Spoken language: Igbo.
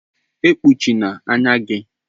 E kpuchina anya gi.